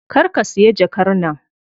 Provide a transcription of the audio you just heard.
Kar ka siya jakar nan.